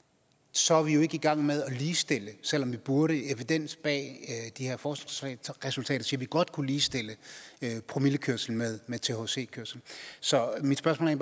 så er vi jo ikke i gang med at ligestille selv om vi burde evidens bag de her forskningsresultater siger at vi godt kunne ligestille promillekørsel med thc kørsel så mit spørgsmål